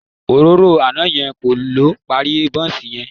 Òróró àná yẹn kọ́ ló parí bọ́ǹsì yẹn